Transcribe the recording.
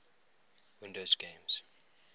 windows games